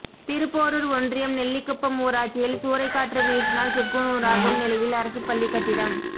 திருப்போரூர் ஒன்றியம் நெல்லிக்குப்பம் ஊராட்சியில் சூறைக்காற்று வீசினால் சுக்குநூறாகும் நிலையில் அரசு பள்ளி கட்டிடம்